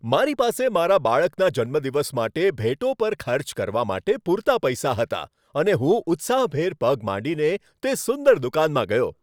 મારી પાસે મારા બાળકના જન્મદિવસ માટે ભેટો પર ખર્ચ કરવા માટે પૂરતા પૈસા હતા અને હું ઉત્સાહભેર પગ માંડીને તે સુંદર દુકાનમાં ગયો.